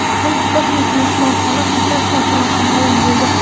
Ilk kosmik mehmonxona qachon ochilishi ma’lum bo‘ldi.